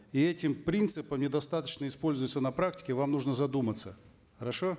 и эти принципы недостаточно используются на практике вам нужно задуматься хорошо